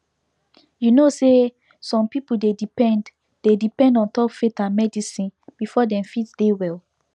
you know say some people dey depend dey depend ontop faith and medicine before dem fit dey well